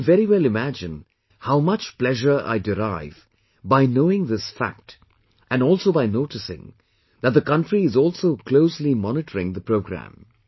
You can very well imagine how much pleasure I derive by knowing this fact and also by noticing that the country is also closely monitoring the programme